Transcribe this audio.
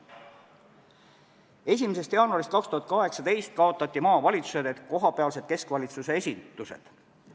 1. jaanuarist 2018 kaotati maavalitsused ehk kohapealsed keskvalitsuse esindused.